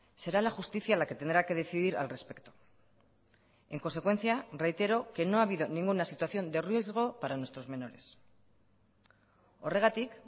será la justicia la que tendrá que decidir al respecto en consecuencia reitero que no ha habido ninguna situación de riesgo para nuestros menores horregatik